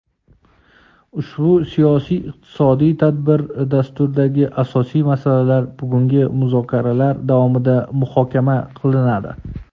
Ushbu siyosiy-iqtisodiy tadbir dasturidagi asosiy masalalar bugungi muzokaralar davomida muhokama qilinadi.